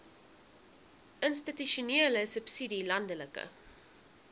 institusionele subsidie landelike